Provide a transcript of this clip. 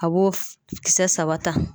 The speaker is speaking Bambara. A b'o kisɛ saba ta.